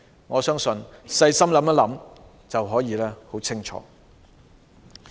我相信細心想想便很清楚。